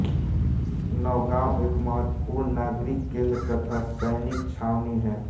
नौगांव एक महत्त्वपूर्ण नागरिक केंद्र तथा सैनिक छावनी है